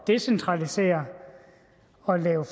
decentralisere og lave